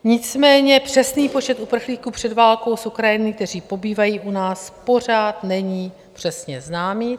Nicméně přesný počet uprchlíků před válkou z Ukrajiny, kteří pobývají u nás, pořád není přesně znám.